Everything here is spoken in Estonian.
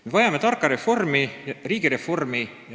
Me vajame tarka reformi, tarka riigireformi.